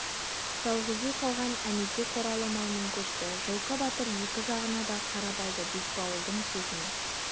жалғыз үй қалған әнетей қоралы малмен көшті жылқы батыр екі жағына да қарап алды бекбауылдың сөзінен